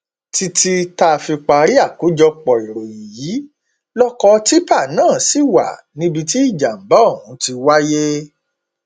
títí táa fi parí àkójọpọ ìròyìn yìí lọkọ tìpá náà ṣì wà níbi tí ìjàmbá ọhún ti wáyé